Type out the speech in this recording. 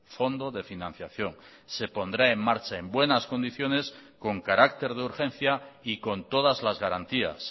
fondo de financiación se pondrá en marcha en buenas condiciones con carácter de urgencia y con todas las garantías